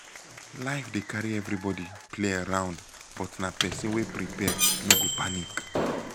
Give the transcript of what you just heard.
life dey carry everybody play around but na pesin wey prepare no go panic